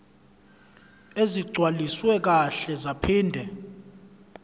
ezigcwaliswe kahle zaphinde